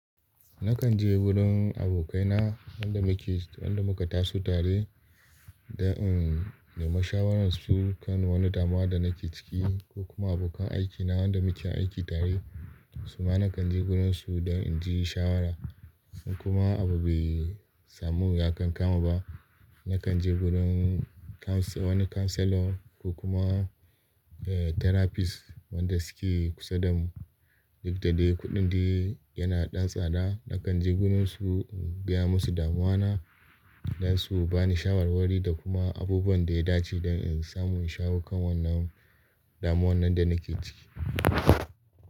Nakan je wurin abokai na wanda muke, wanda muka taso tare dan in nema shawaran su kan wani damuwa da nake ciki ko kuma abokan aikina wanda muke aiki tare. Suma nakan je wurin su dan inji shawara in kuma abu bai samu ya kan kama ba, nakan je wurin counsel wani counselor ko kuma eh therapist wanda suke kusa da mu. Duk da dai kuɗin dai yana ɗan tsada, nakan je gurin su in gaya masu damuwa na dan su bani shawarwari da kuma abubuwan da ya dace dan in samu shawo kan wannan damuwannin da nake ciki.